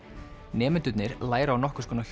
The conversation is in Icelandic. nemendurnir læra á nokkurs konar